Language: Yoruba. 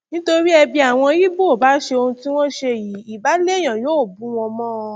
nítorí ẹ bí àwọn ibo bá ṣe ohun tí wọn ṣe yìí ibà lèèyàn yọ bù wọn mọ